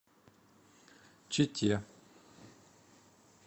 чите